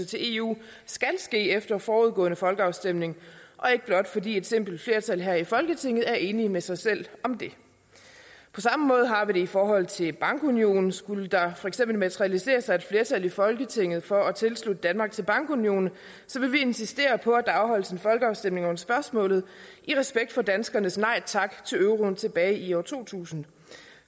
til eu skal ske efter forudgående folkeafstemning og ikke blot fordi et simpelt flertal her i folketinget er enige med sig selv om det på samme måde har vi det i forhold til bankunionen skulle der for eksempel materialisere sig et flertal i folketinget for at tilslutte danmark til bankunionen vil vi insistere på at der afholdes en folkeafstemning om spørgsmålet i respekt for danskernes nej tak til euroen tilbage i år to tusind